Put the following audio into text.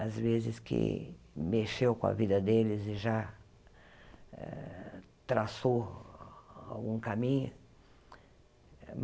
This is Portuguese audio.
Às vezes que mexeu com a vida deles e já traçou algum caminho.